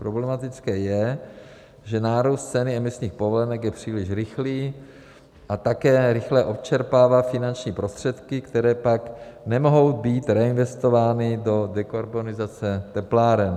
Problematické je, že nárůst cen emisních povolenek je příliš rychlý a také rychle odčerpává finanční prostředky, které pak nemohou být reinvestovány do dekarbonizace tepláren.